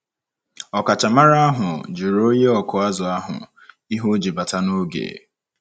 Ọkachamara ahụ jụrụ onye ọkụ azụ̀ ahụ ihe o ji bata n’oge.